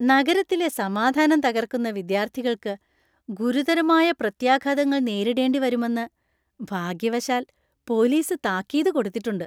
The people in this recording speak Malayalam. നഗരത്തിലെ സമാധാനം തകർക്കുന്ന വിദ്യാർത്ഥികൾക്ക് ഗുരുതരമായ പ്രത്യാഘാതങ്ങൾ നേരിടേണ്ടി വരുമെന്ന് ഭാഗ്യവശാൽ, പോലീസ് താക്കീത് കൊടുത്തിട്ടുണ്ട്.